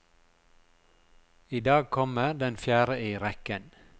I dag kommer den fjerde i rekken.